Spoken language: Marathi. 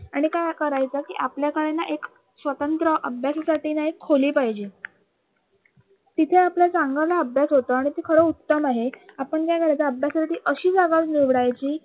आणि काय करायचं कि आपल्याकडे ना एक स्वतंत्र अभ्यासासाठी ना एक खोली पाहिजे तिथं आपला चांगला अभ्यास होतो आणि ती खरी उत्तम आहे. आपण काय करायचं अभ्यासाठी अशी